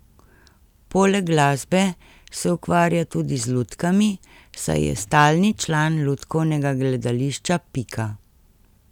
Poleg glasbe se ukvarja tudi z lutkami, saj je stalni član lutkovnega gledališča Pika.